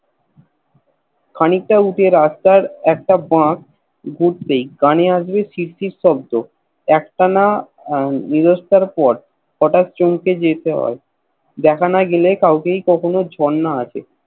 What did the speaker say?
খানিকটা উঠে রাস্তার একটা বাঁধ ঘুরতেই কানে আসবে শির শির শব্দ একটানা নিরস্টার পর হটাৎ চমকে যেতে হয় দেখা না গেলেই কাউকেই কখনো ঝর্ণা আসে